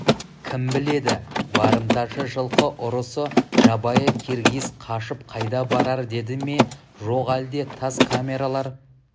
кім біледі барымташы жылқы ұрысы жабайы киргиз қашып қайда барар деді ме жоқ әлде тас камералар